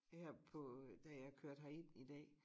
Her på da jeg kørte herind i dag